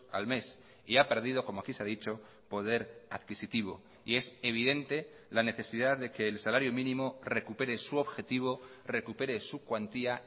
al mes y ha perdido como aquí se ha dicho poder adquisitivo y es evidente la necesidad de que el salario mínimo recupere su objetivo recupere su cuantía